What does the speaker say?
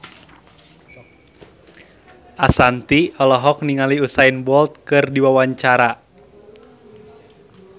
Ashanti olohok ningali Usain Bolt keur diwawancara